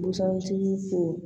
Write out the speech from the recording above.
Busan tigiw fo